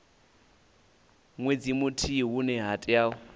nwedzi muthihi hune ha tea